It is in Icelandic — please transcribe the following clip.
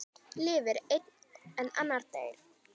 Lifir einn en annar deyr?